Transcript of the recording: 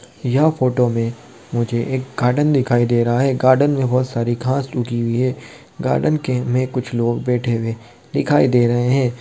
यह फोटो मे मुझे एक गार्डन दिखाई दे रहा है गार्डन मे बहुत सारी घास उगी हुई है गार्डन के में कुछ लोग बैठे हुए दिखाई दे रहे है।